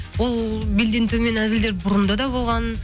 бұл белден төмен әзілдер бұрында да болған